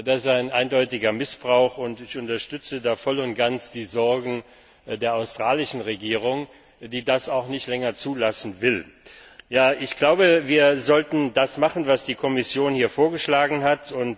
Das ist ein eindeutiger Missbrauch, und ich unterstütze da voll und ganz die Sorgen der australischen Regierung, die das auch nicht länger zulassen will. Wir sollten das machen, was die Kommission hier vorgeschlagen hat.